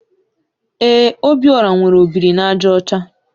Ee, Obiora nwere ọ biri na àjà ọcha.